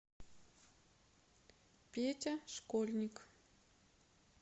петя школьник